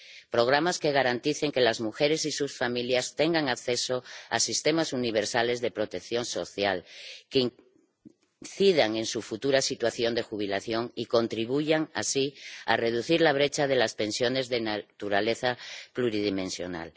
programas que garanticen que las mujeres y sus familias tengan acceso a sistemas universales de protección social que incidan en su futura situación de jubilación y contribuyan así a reducir la brecha de las pensiones de naturaleza pluridimensional